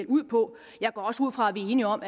ud på jeg går også ud fra at vi er enige om